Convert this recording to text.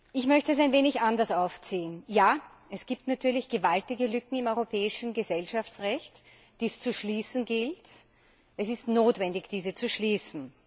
Ich möchte es ein wenig anders aufziehen. Ja, es gibt natürlich gewaltige Lücken im europäischen Gesellschaftsrecht, die es zu schließen gilt. Es ist notwendig, diese zu schließen.